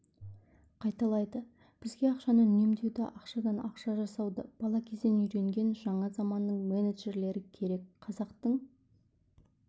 қайталайды бізге ақшаны үнемдеуді ақшадан ақша жасауды бала кезден үйренген жаңа заманның менеджерлері керек қазақтың